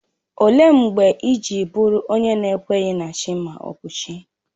Ọ léé mgbe iji bụrụ onye n'ekweghi na Chi ma ọ bụ chi?